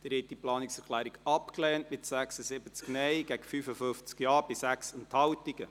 Sie haben diese Planungserklärung abgelehnt, mit 76 Nein- gegen 55 Ja-Stimmen bei 6 Enthaltungen.